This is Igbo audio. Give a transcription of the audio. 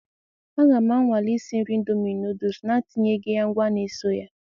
A ga m anwale isi nri ịndomi nụụdụs na-etinyeghị ya ngwa na eso ya.